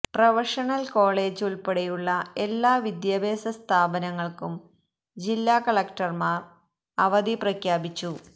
professional college ഉള്പ്പെടെയുള്ള എല്ലാ വിദ്യാഭ്യാസ സ്ഥാപനങ്ങള്ക്കും ജില്ല കളക്ടര്മാര് അവധി പ്രഖ്യാപിച്ചു